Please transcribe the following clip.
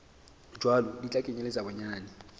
jwalo di tla kenyeletsa bonyane